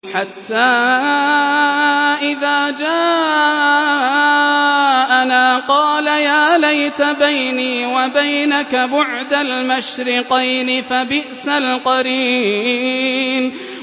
حَتَّىٰ إِذَا جَاءَنَا قَالَ يَا لَيْتَ بَيْنِي وَبَيْنَكَ بُعْدَ الْمَشْرِقَيْنِ فَبِئْسَ الْقَرِينُ